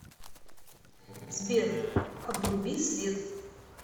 сбер обруби свет